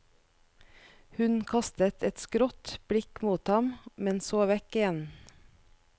Hun kastet et skrått blikk mot ham, men så vekk igjen.